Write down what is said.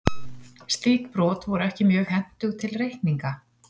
Slík brot voru ekki mjög hentug til reikninga.